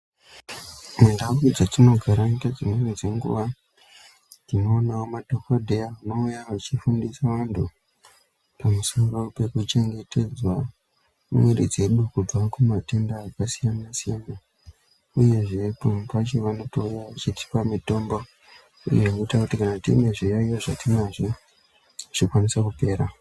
Mundau dzetinogara ngedzimweni dzenguwa tinoona madhokodheya anouya achifundisa anhu pamusoro pekuchengetedzwa miri dzedu kubva kumatenda akasiyana siyana uyeZve pamwe pacho vanotouya vachitipa mutombo uye unoita kuti kana tine zviyaiyo zvatinazvo zvikwanise kupera.